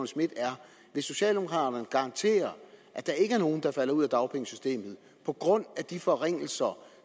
schmidt er vil socialdemokraterne garantere at der ikke er nogen der falder ud af dagpengesystemet på grund af de forringelser